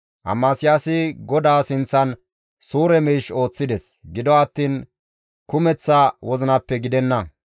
Amasiyaasi GODAA sinththan suure miish ooththides; gido attiin kumeththa wozinappe gidenna.